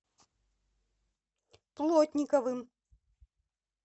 плотниковым